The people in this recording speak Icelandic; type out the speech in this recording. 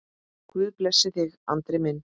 Guð blessi þig, Andri minn.